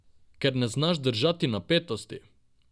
Ker ne znaš držati napetosti!